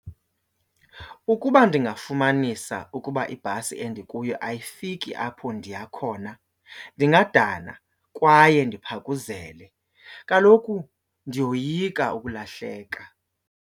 Ukuba ndingafumanisa ukuba ibhasi endikuyo ayifiki apho ndiya khona ndingadana kwaye ndiphakuzele, kaloku ndiyoyika ukulahleka.